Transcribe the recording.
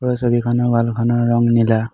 এই ছবিখনৰ ৱাল খনৰ ৰঙ নীলা।